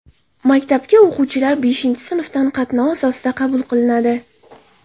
Maktabga o‘quvchilar beshinchi sinfdan tanlov asosida qabul qilinadi.